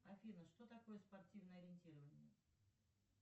афина что такое спортивное ориентирование